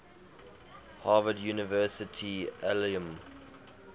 harvard university alumni